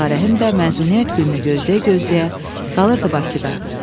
Ağarəhim də məzuniyyət gününü gözləyə-gözləyə qalırdı Bakıda.